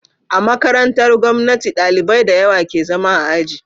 A makarantar gomnati ɗalibai dayawa ke zama a aji